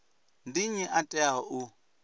ndi nnyi a teaho u